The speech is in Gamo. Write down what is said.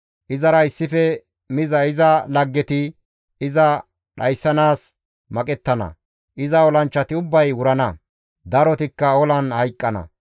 Izara issife miza iza laggeti iza dhayssanaas maqettana; iza olanchchati ubbay wurana; darotikka olan hayqqana.